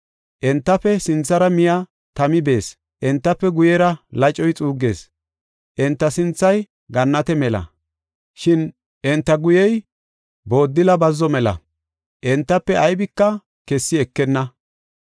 Entafe sinthara miya tami bees; entafe guyera lacoy xuuggees. Enta sinthay Gannate mela; shin enta guyey booddila bazzo mela; entafe aybika kessi ekenna.